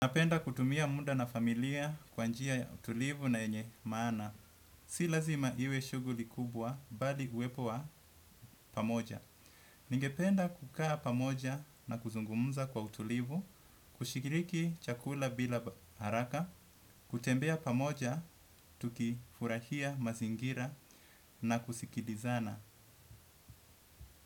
Napenda kutumia muda na familia kwa njia ya utulivu na yenye maana. Si lazima iwe shuguli kubwa bali huwepo wa pamoja. Ningependa kukaa pamoja na kuzungumza kwa utulivu, kushikiriki chakula bila haraka, kutembea pamoja, tukifurahia mazingira na kusikilizana.